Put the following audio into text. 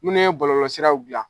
Munnu ye bɔlɔlɔsiraw bila